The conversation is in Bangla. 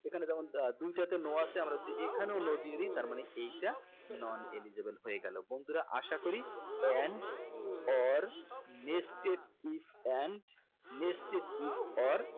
এখানে যেমন আহ দুইটা তে no আছে আমরা যদি এখানেও no দিয়ে দেই তার মানে এইটা non eligible হয়ে গেলো বন্ধুরা আশা করি and or nested if and nested if or